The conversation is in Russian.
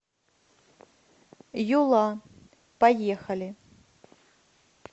юла поехали